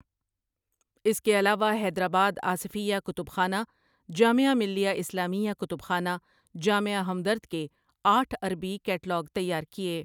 اس کے علاوہ حیدرآباد آصفیہ کتب خانہ، جامعہ ملیہ اسلامیہ کتب خانہ، جامعہ ہمدرد کے آٹھ عربی کیٹلاگ تیار کیے ۔